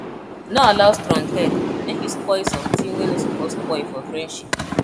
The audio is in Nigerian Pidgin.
no allow stronghead mek you spoil somtin wey no soppose spoil for friendship